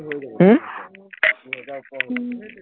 উম